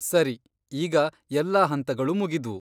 ಸರಿ, ಈಗ ಎಲ್ಲಾ ಹಂತಗಳೂ ಮುಗಿದ್ವು.